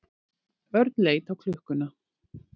Örn leit á klukkuna.